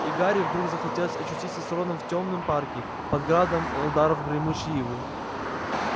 и гарри вдруг захотелось очутиться с роном в тёмном парке под градом ударов гремучей ивы